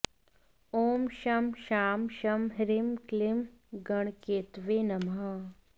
ॐ शं शां षं ह्रीं क्लीं गणकेतवे नमः